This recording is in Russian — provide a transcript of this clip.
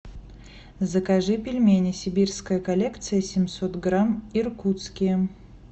закажи пельмени сибирская коллекция семьсот грамм иркутские